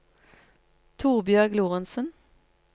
Torbjørg Lorentzen